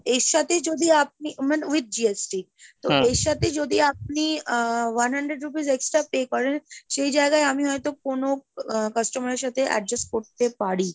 এর সাথে যদি আপনি মানে with GST এর সাথে যদি আপনি uh one hundred rupees extra pay করেন, সেই জায়গায় আমি হয়তো কোনো আহ customer এর সাথে adjust করতে পারি।